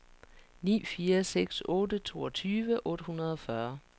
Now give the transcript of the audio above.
ni fire seks otte toogtyve otte hundrede og fyrre